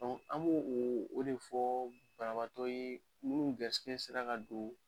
an b'o o de fɔɔ banabaatɔw ye minnu garisigɛ sera ka don